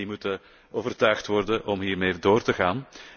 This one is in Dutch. En die moeten overtuigd worden om hiermee door te gaan.